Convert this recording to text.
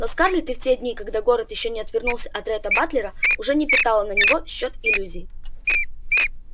но скарлетт и в те дни когда город ещё не отвернулся от ретта батлера уже не питала на него счёт иллюзий